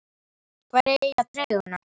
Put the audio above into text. Hverjir eiga treyjuna?